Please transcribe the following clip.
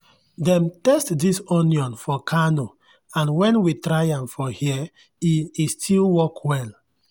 dem test this onion for kano and when we try am for here e e still work well.